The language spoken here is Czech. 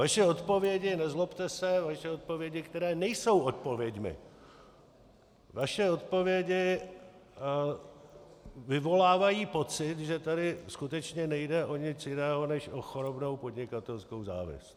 Vaše odpovědi, nezlobte se, vaše odpovědi, které nejsou odpověďmi, vaše odpovědi vyvolávají pocit, že tady skutečně nejde o nic jiného než o chorobnou podnikatelskou závist.